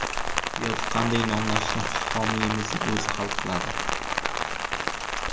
Yoki qanday nomlashni homiyimizning o‘zi hal qiladi.